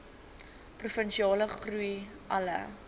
provinsiale groei alle